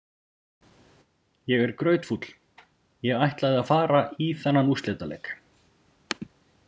Ég er grautfúll, ég ætlaði að fara í þennan úrslitaleik.